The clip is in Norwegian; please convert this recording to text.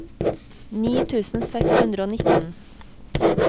ni tusen seks hundre og nitten